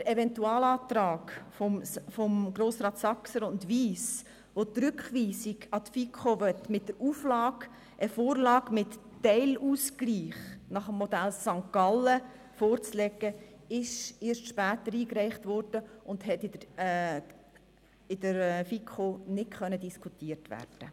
Der Eventualantrag der Grossräte Saxer und Wyss, welcher die Rückweisung an die FiKo will mit der Auflage, eine Vorlage mit Teilausgleichen nach dem St.-GallerModell vorzulegen, wurde erst später eingereicht und konnte von der FiKo nicht diskutiert werden.